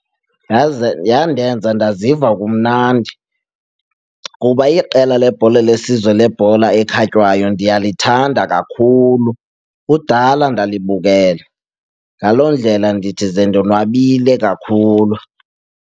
Yandenza ndaziva kumnandi kuba iqela lebhola lesizwe lebhola ekhatywayo ndiyalithanda kakhulu kudala ndalibukela. Ngaloo ndlela ndithi zendonwabile kakhulu.